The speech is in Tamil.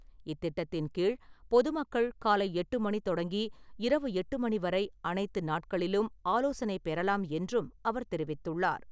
இத்திட்டத்தின் கீழ் பொதுமக்கள் காலை எட்டு மணி தொடங்கி இரவு எட்டு மணி வரை அனைத்து நாட்களிலும் ஆலோசனை பெறலாம் என்றும் அவர் தெரிவித்துள்ளார் .